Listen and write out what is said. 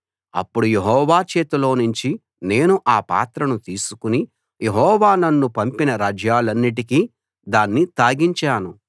అప్పుడు యెహోవా చేతిలో నుంచి నేను ఆ పాత్రను తీసుకుని యెహోవా నన్ను పంపిన రాజ్యాలన్నిటికీ దాన్ని తాగించాను